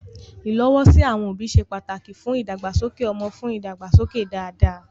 Ìlọ́wọ́sí àwọn òbí ṣe pàtàkì fún ìdàgbàsókè ọmọ fún ìdàgbàsókè dáadáa.